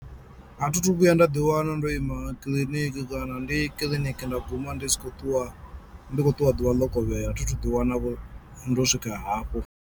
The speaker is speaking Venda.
A thi thu vhuya nda ḓi wana ndo ima kiḽiniki kana ndi kiḽiniki nda guma ndi si khou ṱuwa ndi khou ṱuwa ḓuvha ḽo kovhela thi thu ḓi wana vho ndo swika hafho.